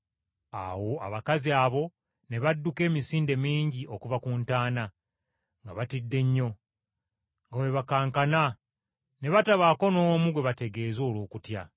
Awo abakazi abo ne badduka emisinde mingi okuva ku ntaana, nga batidde nnyo, nga bwe bakankana, ne batabaako n’omu gwe bategeeza olw’okutya.